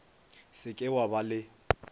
se ke wa ba le